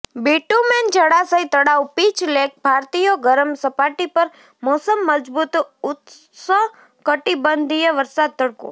bitumen જળાશય તળાવ pitch lake ભારતીયો ગરમ સપાટી પર મોસમ મજબૂત ઉષ્ણકટિબંધીય વરસાદ તડકો